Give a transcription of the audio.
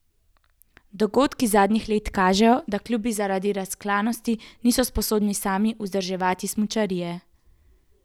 Dogodki zadnjih let kažejo, da klubi zaradi razklanosti niso sposobni sami vzdrževati smučarije.